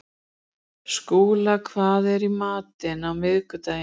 Skúla, hvað er í matinn á miðvikudaginn?